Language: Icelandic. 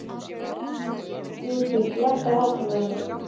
Judith, lækkaðu í hátalaranum.